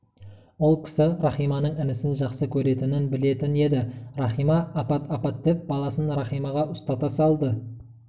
ол кісі рахиманың інісін жақсы көретінін білетін еді рахима апат апат деп баласын рахимаға ұстата салды